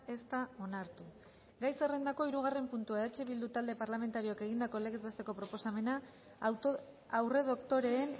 ez da onartu gai zerrendako hirugarren puntua eh bildu talde parlamentarioak egindako legez besteko proposamena aurredoktoreen